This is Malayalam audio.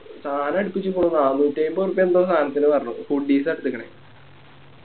സാനം അടിപ്പിച്ച്ക്ക്ണു നാനൂറ്റിയയിമ്പേ ഉറുപ്യ എന്തോ സനത്തിനു പറഞ്ഞു Huddies ആ എടുത്തിക്കിണെ